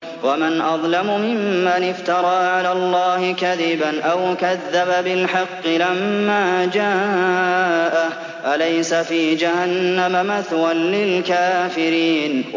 وَمَنْ أَظْلَمُ مِمَّنِ افْتَرَىٰ عَلَى اللَّهِ كَذِبًا أَوْ كَذَّبَ بِالْحَقِّ لَمَّا جَاءَهُ ۚ أَلَيْسَ فِي جَهَنَّمَ مَثْوًى لِّلْكَافِرِينَ